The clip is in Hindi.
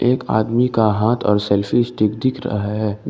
एक आदमी का हाथ और सेल्फी स्टिक दिख रहा है।